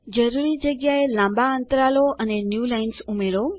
જરૂરી જગ્યા એ લાંબા અન્તરાલો અને ન્યૂલાઇન્સ ઉમેરો